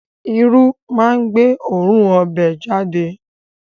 Irú máa ń gbé oòrùn ọbẹ̀ jáde